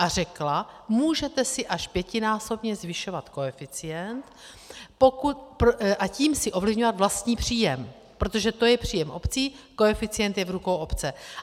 A řekla: můžete si až pětinásobně zvyšovat koeficient, a tím si ovlivňovat vlastní příjem, protože to je příjem obcí, koeficient je v rukou obce.